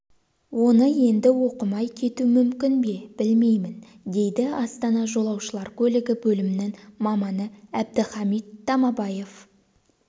оны енді оқымай кету мүмкін бе білмеймін дейді астана жолаушылар көлігі бөлімінің маманы әбдіхамит тамабаев